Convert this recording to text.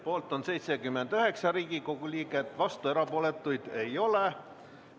Poolt on 79 Riigikogu liiget, vastuolijaid ja erapooletuid ei ole.